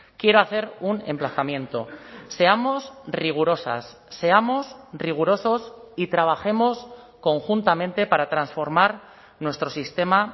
quiero hacer un emplazamiento seamos rigurosas seamos rigurosos y trabajemos conjuntamente para transformar nuestro sistema